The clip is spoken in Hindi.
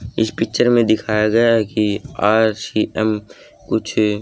इस पिक्चर में दिखाया गया है कि आर_सी_एम कुछ--